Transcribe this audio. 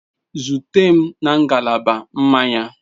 Zute m na ngalaba mmanya.